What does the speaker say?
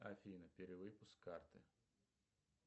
афина перевыпуск карты